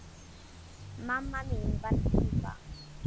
Mamma mín var díva.